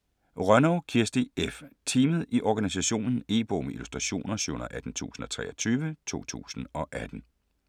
Rønnow, Kirsti F.: Teamet i organisationen E-bog med illustrationer 718023 2018.